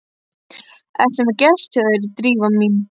Ertu með gest hjá þér, Drífa mín?